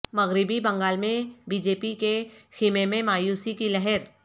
مغربی بنگال میں B J P کے خیمے میں مایوسی کی لہر